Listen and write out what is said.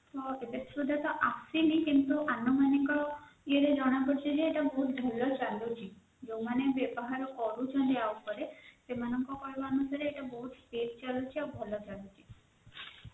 ଏବେ ସୁଧା ତ ଆସିନି କିନ୍ତୁ ଆନୁମାନିକ ଇଏ ରେ ଜଣ ପଡୁଛି ଯେ ଇଏ ବହୁତ ଭଲ ଚାଲୁଛି ଯୋଉମାନେ ବ୍ୟବହାର କରୁଛନ୍ତି ୟା ଇପାରେ ସେମାନଙ୍କ କହିବା ଅନୁସାରେ ବହୁତ speed ଚାଲୁଛି ଆଉ ବହୁତ ଭଲ ଚାଲୁଛି